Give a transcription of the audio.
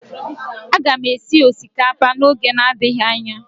Aga m esi osikapa n'oge adịghị anya